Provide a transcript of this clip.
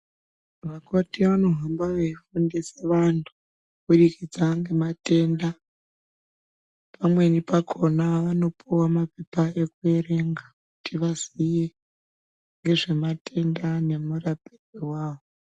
Vakoti vano hamba vei fundise vantu kubudikidza ngema tenda pamweni pakona vano puwa mapepa eku verenga kuti vaziye ngezve matenda ngemu rapirwe awo.